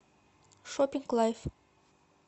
шоппинг лайф